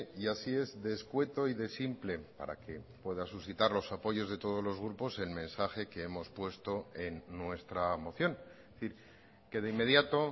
y así es de escueto y de simple para que pueda suscitar los apoyos de todos los grupos el mensaje que hemos puesto en nuestra moción es decir que de inmediato